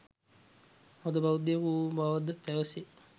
හොඳ බෞද්ධයෙකු වූ බවද පැවසේ